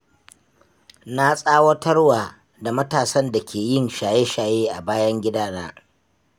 Na tsawatarwa da matasan da ke yin shaye-shaye a bayan gidana.